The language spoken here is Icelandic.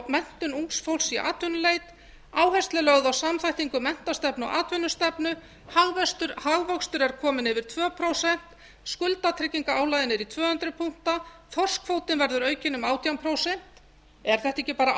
menntun ungs fólks í atvinnuleit áhersla er lögð á samþættingu menntastefnu og atvinnustefnu hagvöxtur er kominn yfir tvö prósent skuldatryggingarálagið yfir tvö hundruð punkta þorskkvótinn verður aukinn um átján prósent er þetta